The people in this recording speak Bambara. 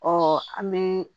Ɔ an bɛ